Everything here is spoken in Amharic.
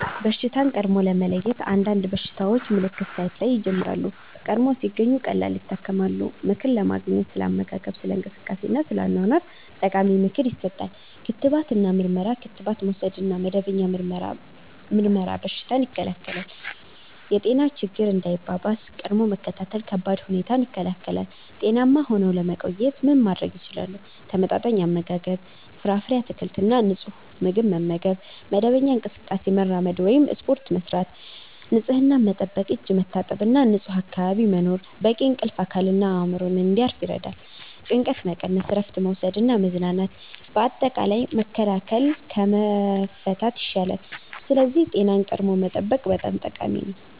በሽታን ቀድሞ ለመለየት – አንዳንድ በሽታዎች ምልክት ሳይታይ ይጀምራሉ፤ ቀድሞ ሲገኙ ቀላል ይታከማሉ። ምክር ለማግኘት – ስለ አመጋገብ፣ ስለ እንቅስቃሴ እና ስለ አኗኗር ጠቃሚ ምክር ይሰጣል። ክትባት እና ምርመራ – ክትባት መውሰድ እና መደበኛ ምርመራ በሽታን ይከላከላል። የጤና ችግኝ እንዳይባባስ – ቀድሞ መከታተል ከባድ ሁኔታን ይከላከላል። ጤናማ ሆነው ለመቆየት ምን ማድረግ ይችላሉ? ተመጣጣኝ አመጋገብ – ፍራፍሬ፣ አትክልት እና ንጹህ ምግብ መመገብ። መደበኛ እንቅስቃሴ – መራመድ ወይም ስፖርት ማድረግ። ንፁህነት መጠበቅ – እጅ መታጠብ እና ንጹህ አካባቢ መኖር። በቂ እንቅልፍ – አካልና አእምሮ እንዲያርፍ ይረዳል። ጭንቀት መቀነስ – እረፍት መውሰድ እና መዝናናት። አጠቃላይ፣ መከላከል ከመፍታት ይሻላል፤ ስለዚህ ጤናን ቀድሞ መጠበቅ በጣም ጠቃሚ ነው።